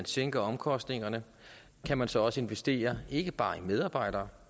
sænket omkostningerne kan man så så investere ikke bare i medarbejdere